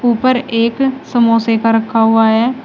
उपर एक समोसे का रखा हुआ है।